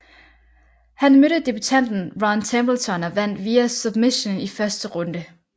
Han mødte debutanten Ron Templeton og vandt via submission i første runde